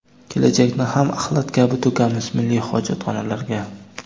kelajakni ham axlat kabi to‘kamiz milliy hojatxonalarga!.